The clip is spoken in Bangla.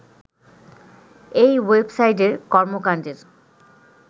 এই ওয়েবসাইটের কর্মকাণ্ডের